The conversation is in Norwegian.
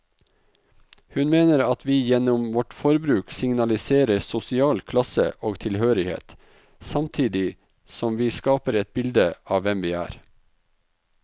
Hun mener at vi gjennom vårt forbruk signaliserer sosial klasse og tilhørighet, samtidig som vi skaper et bilde av hvem vi er.